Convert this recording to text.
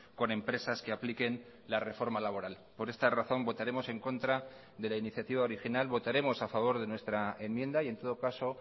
con empresas que apliquen la reforma laboral por esta razón votaremos en contra de la iniciativa original votaremos a favor de nuestra enmienda y en todo caso